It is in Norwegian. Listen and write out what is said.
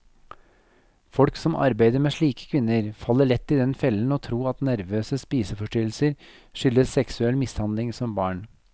Folk som arbeider med slike kvinner, faller lett i den fellen å tro at nervøse spiseforstyrrelser skyldes seksuell mishandling som barn.